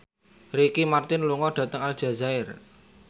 Ricky Martin lunga dhateng Aljazair